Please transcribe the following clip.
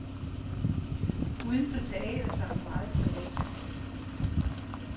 Uden for teatret var hun meget privat.